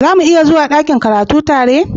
Za muniya zuwa dakin karatu tare?